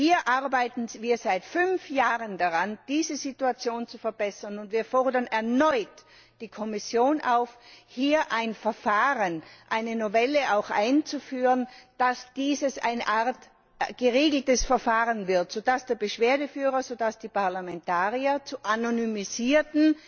Wir arbeiten seit fünf Jahren daran, diese Situation zu verbessern, und wir fordern erneut die Kommission auf, hier ein Verfahren, eine Novelle einzuführen, damit dies zu einem geregelten Verfahren wird, sodass der Beschwerdeführer, sodass die Parlamentarier zu anonymisierten